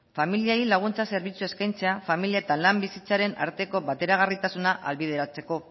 familiei laguntza zerbitzu eskaintzea familia eta lan bizitzaren arteko bateragarritasuna ahalbideratzeko